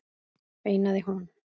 veinaði hún.